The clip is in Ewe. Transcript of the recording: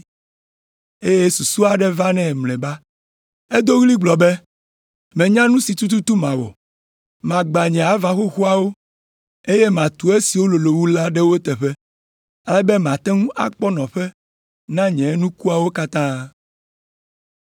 eye susu aɖe va nɛ mlɔeba. Edo ɣli gblɔ be, ‘Menya nu si tututu mawɔ, magbã nye ava xoxoawo, eye matu esiwo lolo wu la ɖe wo teƒe, ale be mate ŋu akpɔ nɔƒe na nye nukuawo katã.